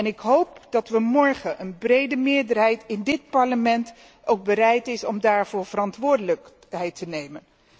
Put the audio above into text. Ik hoop dat morgen een brede meerderheid in dit Parlement bereid is daarvoor verantwoordelijkheid te nemen.